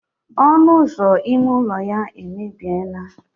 ọnụ ụzọ ime ụlọ ya emebie naa